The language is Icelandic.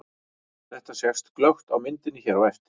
Þetta sést glöggt á myndinni hér á eftir.